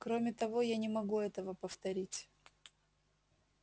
кроме того я не могу этого повторить